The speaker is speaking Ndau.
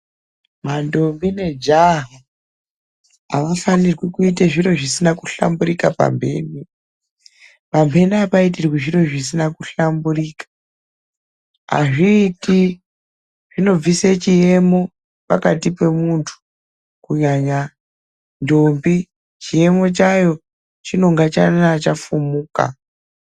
Mandombi nejaha amufani kuita zvinhu zvinenge zvisina kuhlamburuka pamhene. Pamhene apaitiki zvinhu zvinenge zvisina kuhlamburuka, azviiti zvinobvisa chiemo pane muntu kunyanya ndombi, chiemo chayo chinenge chafumuka.